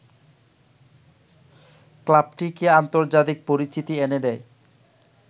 ক্লাবটিকে আন্তর্জাতিক পরিচিতি এনে দেয়